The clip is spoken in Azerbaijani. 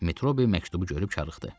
Metrobi məktubu görüb çaşırdı.